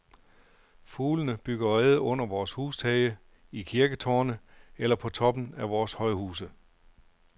Fuglene bygger reder under vores hustage, i kirketårne eller på toppen af vores højhuse.